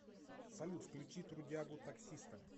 салют включи трудягу таксиста